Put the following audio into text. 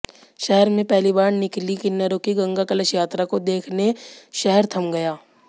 शहर में पहली बार निकली किन्नरों की गंगा कलश यात्रा को देखने शहर थम गया